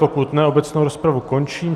Pokud ne, obecnou rozpravu končím.